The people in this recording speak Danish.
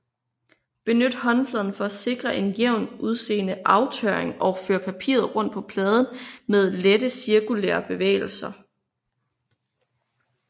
Benyt håndfladen for at sikre en jævnt udseende aftørring og før papiret rundt på pladen med lette cirkulære bevægelser